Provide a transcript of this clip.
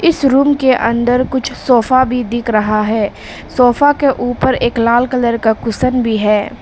इस रूम के अंदर कुछ सोफा भी दिख रहा है सोफा के ऊपर एक लाल कलर का कुशन भी है।